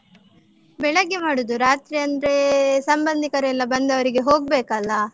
ಬೆಳಗ್ಗೆ ಮಾಡುದು. ರಾತ್ರಿ ಅಂದ್ರೇ ಸಂಬಂದಿಕರೆಲ್ಲ ಬಂದವ್ರಿಗೆ ಹೋಗ್ಬೇಕಲ್ಲಾ?